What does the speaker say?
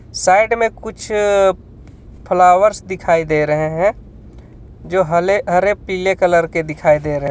Side में कुछ flowers दिखाई दे रहे हैं जो हले-हरे पिले कलर के दिखाई दे रहे है.